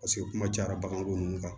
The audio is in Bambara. Paseke kuma cayara baganko ninnu kan